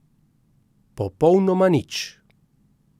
Popolnoma nič.